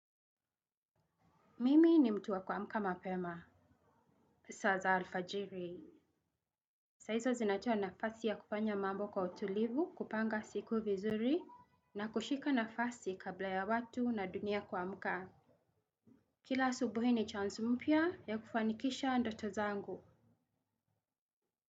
Mimi ni mtu wa kuamka mapema. Saa za alfajiri saizo zinatoa nafasi ya kufanya mambo kwa utulivu kupanga siku vizuri. Na kushika nafasi kabla ya watu na dunia kwa mkama. Kila asubuhi ni chance mpia ya kufanikisha ndoto zangu.